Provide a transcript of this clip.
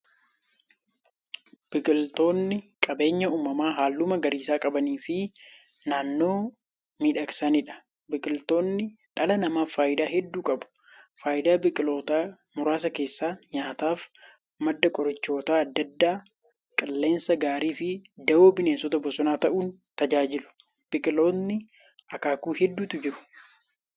Biqiltootni qabeenya uumamaa haalluu magariisa qabaniifi naannoo miidhagsaniidha. Biqiltootni dhala namaaf faayidaa hedduu qabu. Faayidaa biqiltootaa muraasa keessaa; nyaataaf, madda qorichoota adda addaa, qilleensa gaariifi dawoo bineensota bosonaa ta'uun tajaajilu. Biqiltootni akaakuu hedduutu jiru.